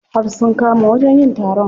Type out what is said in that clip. Har sun kama wajen yin taron.